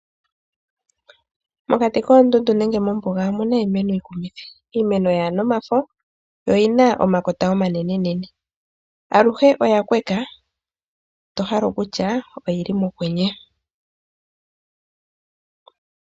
Mokati koondundu nenge mombuga omuna iimeno yikumithi. Iimeno yaana omafo yo iyina omakota omanene nene. Aluhe oya kweka tohale okutya oyili mokwenye.